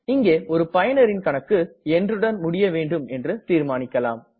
இங்கே ஒரு பயனரின் கணக்கு என்றுடன் முடிய வேண்டும் என்று தீர்மானிக்கலாம்